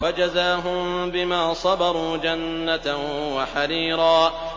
وَجَزَاهُم بِمَا صَبَرُوا جَنَّةً وَحَرِيرًا